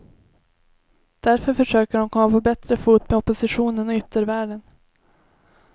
Därför försöker de komma på bättre fot med oppositionen och yttervärlden.